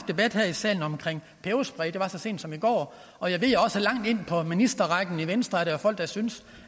debat her i salen om peberspray det var så sent som i går og jeg ved også at der langt ind på ministerrækken i venstre er folk der synes